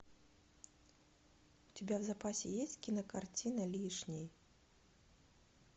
у тебя в запасе есть кинокартина лишний